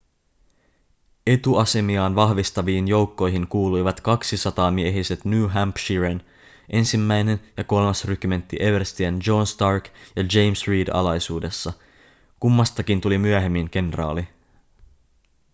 etuasemiaan vahvistaviin joukkoihin kuuluivat kaksisataamiehiset new hampshiren 1. ja 3. rykmentti everstien john stark ja james reed alaisuudessa kummastakin tuli myöhemmin kenraali